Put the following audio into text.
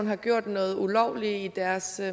har gjort noget ulovligt i deres